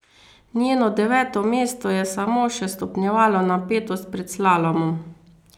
Njeno deveto mesto je samo še stopnjevalo napetost pred slalomom.